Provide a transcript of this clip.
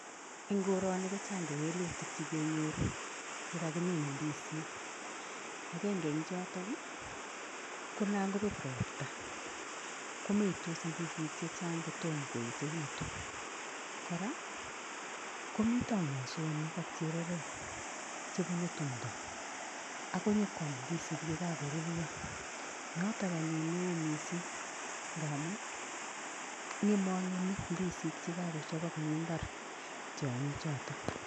En koroni kojang kewelutik chekengoru yekakimin ndisik akenge en choton konan kobet robta komeitos ndisik chechang kotom koyechekitun kora komiten mosonik ak chererok chebunu tumdo akonyokwam ndisik yekakoruryo noton anyun newoo mising ngaamun ngemangemi ndisik chekakochobok en imbar tyongichoton